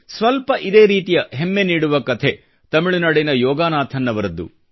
ಸ್ವಲ್ಪ ಇದೇ ರೀತಿಯ ಹೆಮ್ಮೆ ನೀಡುವ ಕಥೆ ತಮಿಳುನಾಡಿನ ಯೋಗಾನಾಥನ್ ಅವರದ್ದು